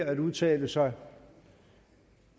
at udtale sig